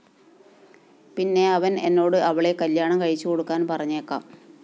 പിന്നെ അവന്‍ എന്നോട് അവളെ കല്യാണം കഴിച്ചുകൊടുക്കാന്‍ പറഞ്ഞേക്കാം